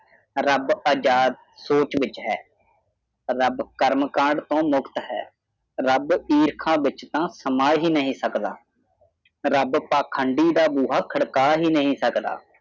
ਰੱਬ ਆਜ਼ਾਦ ਸੋਚ ਵਿਚ ਹੈ ਰਬ ਕਰਮ ਕਾਂਡ ਤੋ ਮੁਕਤ ਹੈ ਰਬ ਈਰਖਾ ਵਿਚਤਾਤਾ ਸਮਾਂ ਹੀ ਨਹੀ ਸਕਤਾ ਰਬ ਪਾਖੰਡੀ ਬੁਆ ਖੜਕਾ ਹੀ ਨਹੀਂ ਸਕਤਾ